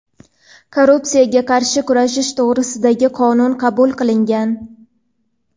"Korrupsiyaga qarshi kurashish to‘g‘risida"gi Qonun qabul qilingan.